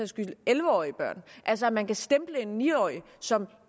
skyld elleve årige børn altså at man kan stemple en ni årig som